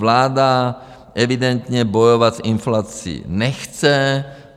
Vláda evidentně bojovat s inflací nechce.